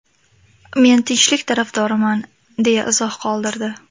Men tinchlik tarafdoriman!” deya izoh qoldirdi.